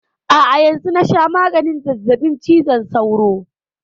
A'a yanzun na sha maganin zazzabin cizon sauro.